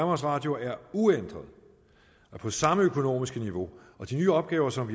radio er uændret og på samme økonomiske niveau og de nye opgaver som